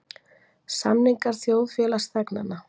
Samningar þjóðfélagsþegnanna.